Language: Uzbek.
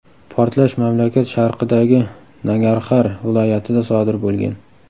Portlash mamlakat sharqidagi Nangarxar viloyatida sodir bo‘lgan.